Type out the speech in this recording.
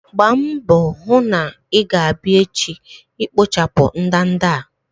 Gbaa mbọ hụ na i-ga abia echi ikpochapụ ndanda a!